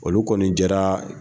Olu kɔni jɛra.